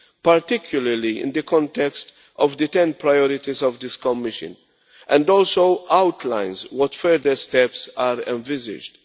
particularly in the context of the 10 priorities of this Commission, and also outlines what further steps are envisaged.